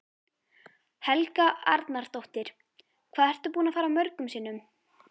Helga Arnardóttir: Hvað ertu búinn að fara mörgum sinnum?